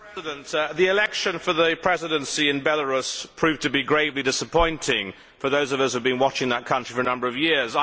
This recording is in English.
Mr President, the election for the Presidency in Belarus proved to be gravely disappointing for those of us who have been watching that country for a number of years.